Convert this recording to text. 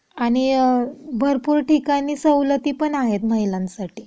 आणि भरपूर ठिकाणी सवलती पण आहेत महिलांसाठी.